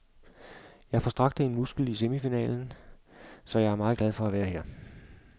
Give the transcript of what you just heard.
Jeg forstrakte en muskel i semifinalen, så jeg er meget glad for at være her.